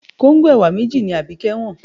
Kóńgò ẹ̀wà méjì ni Abike wọ́n.